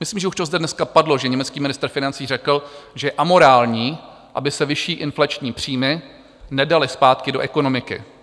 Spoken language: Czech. Myslím, že už to zde dneska padlo, že německý ministr financí řekl, že je amorální, aby se vyšší inflační příjmy nedaly zpátky do ekonomiky.